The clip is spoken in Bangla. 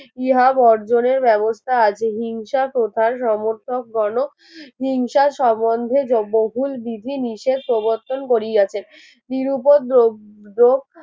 ইহা বর্জনের ব্যবস্থা আছে হিংসা প্রথার সমর্থক গণক হিংসা সম্বন্ধে বহুল বিধি নিষেধ প্রবর্তন করিয়াছে নিরুপদ্রব